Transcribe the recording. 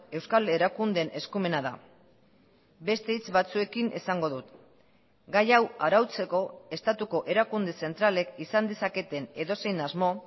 euskal erakundeen eskumena da beste hitz batzuekin esango dut gai hau arautzeko estatuko erakunde zentralek izan dezaketen edozein asmo